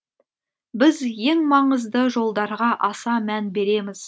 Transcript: біз ең маңызды жолдарға аса мән береміз